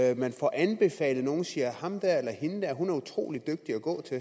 at man får anbefalet nogle siger at ham der eller hende der er utrolig dygtig at gå til